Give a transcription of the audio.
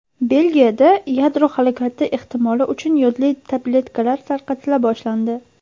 Belgiyada yadro halokati ehtimoli uchun yodli tabletkalar tarqatila boshlandi.